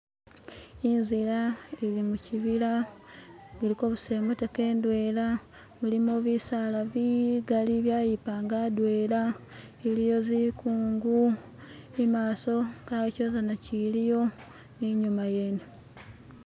inzila ili mukyibila kuliko busa imotoka indwela mulimo bisaala bigaali byayipanga adwela iliwo zikungu imaaso kawo kyizizana kyiliyo ninyuma yene